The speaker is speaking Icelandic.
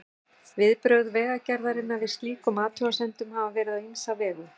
Viðbrögð Vegagerðarinnar við slíkum athugasemdum hafa verið á ýmsa vegu.